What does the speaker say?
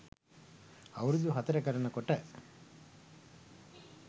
අවුරුදු හතර කරන කොට